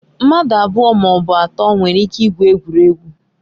Mmadụ abụọ ma ọ bụ atọ nwere ike igwu egwuregwu.